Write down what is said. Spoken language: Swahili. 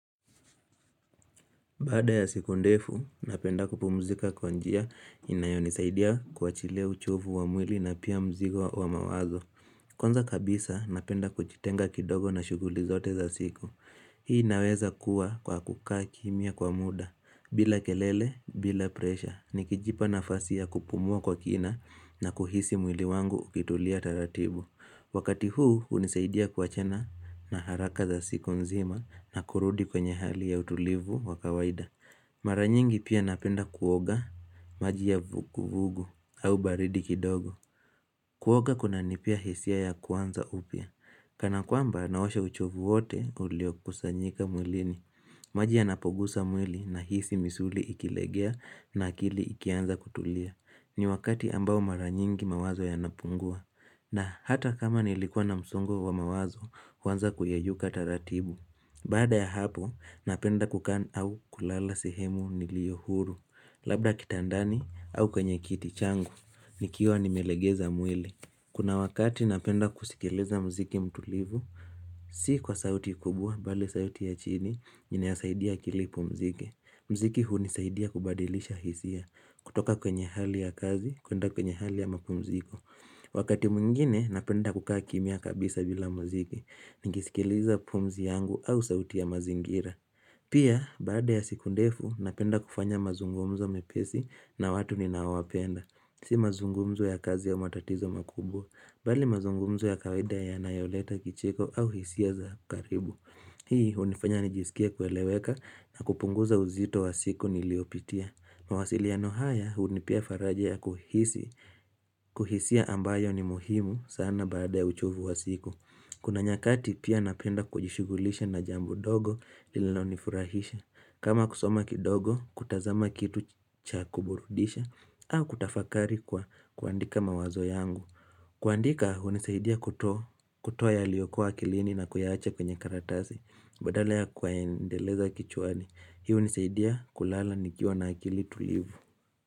Bada ya siku ndefu, napenda kupumzika kwa njia inayo nisaidia kwa chilia uchovu wa mwili na pia mzigo wa mawazo. Konza kabisa, napenda kuchitenga kidogo na shuguli zote za siku. Hii naweza kuwa kwa kukaa kimia kwa muda, bila kelele, bila presha. Nikijipa na fasia kupumua kwa kina na kuhisi mwili wangu ukitulia taratibu. Wakati huu unisaidia kwa chena na haraka za siku nzima na kurudi kwenye hali ya utulivu wa kawaida. Maranyingi pia napenda kuoga maji ya vuku vugu au baridi kidogo. Kuoga kuna nipia hisia ya kwanza upia. Kana kwamba naosha uchovu wote ulio kusanyika mwilini. Majia napogusa mwili na hisi misuli ikilegea na akili ikianza kutulia. Ni wakati ambao maranyingi mawazo ya napungua. Na hata kama nilikuwa na msongo wa mawazo, kwanza huaza kuyeyuka taratibu Bada ya hapo, napenda kukana au kulala sehemu niliyohuru Labda kitandani au kwenye kitichangu, nikiwa nimelegeza mwili Kuna wakati napenda kusikeleza mziki mtulivu Si kwa sauti kubwa, bali sauti ya chini, nina ya saidia kilipu mziki Mziki huni saidia kubadilisha hisia, kutoka kwenye hali ya kazi, kuenda kwenye hali ya mapumziko Wakati mwingine napenda kukaa kimia kabisa bila muziki, ningisikiliza pumzi yangu au sauti ya mazingira Pia, baada ya sikundefu, napenda kufanya mazungumzo mepesi na watu ni nawapenda Si mazungumzo ya kazi ya matatizo makubwa, bali mazungumzo ya kawaida ya nayoleta kicheko au hisia za karibu Hii, hunifanya nijisikia kueleweka na kupunguza uzito wa siku niliopitia Mawasili ya no haya unipia faraja ya kuhisi, kuhisia ambayo ni muhimu sana baada ya uchovu wa siku Kuna nyakati pia napenda kujishugulisha na jambu dogo lino nifurahisha kama kusoma kidogo, kutazama kitu cha kuburudisha au kutafakari kwa kuandika mawazo yangu kuandika hunisaidia kutoa ya liokoa kilini na kuyahacha kwenye karatasi Badala ya kwaendeleza kichuani Hiu nisaidia kulala nikiwa na akili tulivu.